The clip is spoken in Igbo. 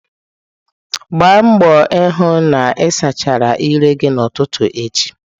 Gbaa mbọ hụ na ị sachaa ire gị n'ụtụtụ echi.